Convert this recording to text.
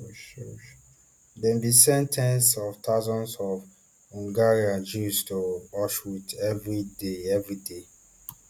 dem bin send ten s of thousands of hungarian jews to auschwitz evri day evri day